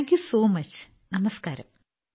thank you so much നമസ്ക്കാരം